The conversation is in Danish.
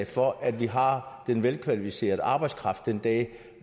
for at vi har den velkvalificerede arbejdskraft den dag